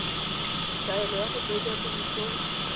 kaelo ya go tsenya tirisong